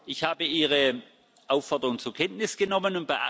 Ich habe Ihre Aufforderung zur Kenntnis genommen.